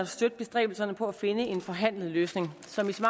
støtte bestræbelserne på at finde en forhandlet løsning som i så